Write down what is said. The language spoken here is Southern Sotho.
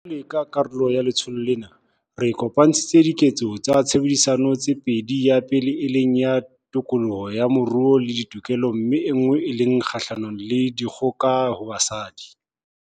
Jwalo ka karolo ya letsholo lena, re kopantshitse Diketso tsa Tshebedisano tse pedi, ya pele e leng ya tokoloho ya moruo le ditokelo mme enngwe ke e kgahlano le dikgoka ho basadi GBV.